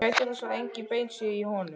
Gætið þess að engin bein séu í honum.